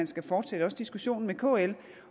skal fortsætte diskussionen med kl